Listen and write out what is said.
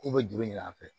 K'u bɛ juru ɲini an fɛ